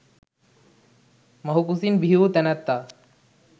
මව් කුසින් බිහිවූ තැනැත්තා